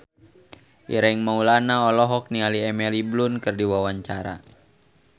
Ireng Maulana olohok ningali Emily Blunt keur diwawancara